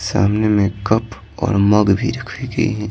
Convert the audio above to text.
सामने एक कप और मग भी रखी गई हैं।